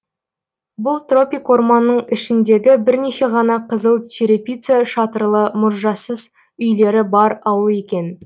бұл тропик орманның ішіндегі бірнеше ғана қызыл черепица шатырлы мұржасыз үйлері бар ауыл екен